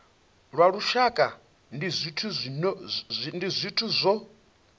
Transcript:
lwa lushaka ndi zwithu zwo